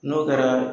N'o kɛra